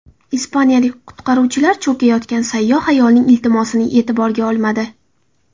Ispaniyalik qutqaruvchilar cho‘kayotgan sayyoh ayolning iltimosini e’tiborga olmadi.